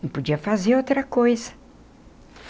Não podia fazer outra coisa.